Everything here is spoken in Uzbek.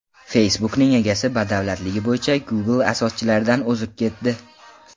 Facebook’ning egasi badavlatligi bo‘yicha Google asoschilaridan o‘zib ketdi.